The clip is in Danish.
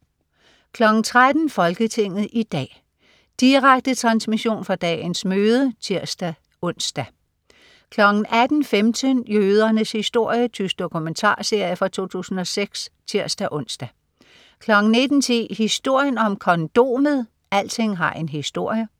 13.00 Folketinget i dag. Direkte transmission fra dagens møde (tirs-ons) 18.15 Jødernes historie. Tysk dokumentarserie fra 2006 (tirs-ons) 19.10 Historien om kondomet. Alting har en historie!